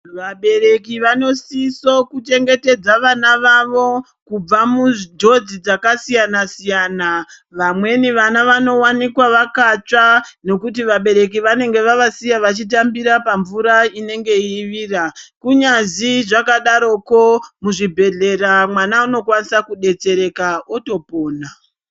Vabereki vanosiso kuchengetedza vana vavo kubva munjodzi dzakasiyana siyana, vamweni vana vanowanikwa vakatsva ngokuti vabereki vanenge vacasiya vachitambira pamvura inenge yeivira kunyazi zvakadaroko muzvibhedhlera mwana unokwanisa kudetsereka otopona.